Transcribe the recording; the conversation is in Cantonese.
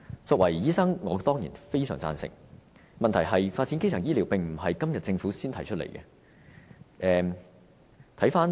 作為醫生，我對此當然非常贊成，問題是發展基層醫療並不是政府今天才提出的。